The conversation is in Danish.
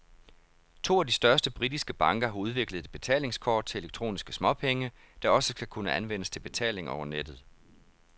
To af de største britiske banker har udviklet et betalingskort til elektroniske småpenge, der også skal kunne anvendes til betaling over nettet.